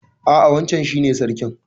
A'a wancan shi ne sarkin.